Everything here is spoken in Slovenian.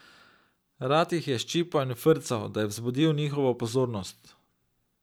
Rad jih je ščipal in frcal, da je vzbudil njihovo pozornost.